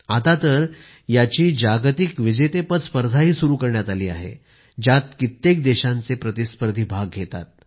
आता तर याची जागतिक विजेतेपद स्पर्धाही सुरू करण्यात आली आहे ज्यात कित्येक देशांचे प्रतिस्पर्धी भाग घेतात